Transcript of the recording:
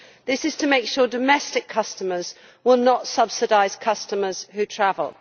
This is to make sure domestic customers will not subsidise customers who travel.